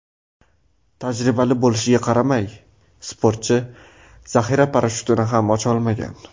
Tajribali bo‘lishiga qaramay, sportchi zaxira parashyutini ham ocha olmagan.